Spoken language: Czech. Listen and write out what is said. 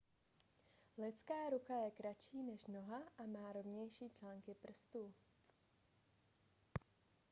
lidská ruka je kratší než noha a má rovnější články prstů